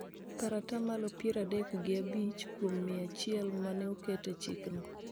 kar ata malo piero adek gi abich kuom mia achiel ma ne oket e chikno.